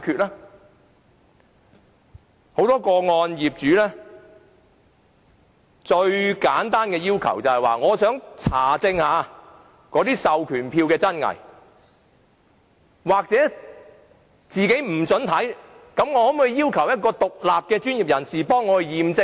在很多個案中，業主最簡單的要求只是想查證授權書的真偽，不獲准查看時，便要求交由一個獨立的專業人士代為驗證授權書。